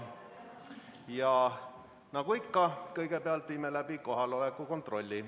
Ja nagu ikka, kõigepealt viime läbi kohaloleku kontrolli.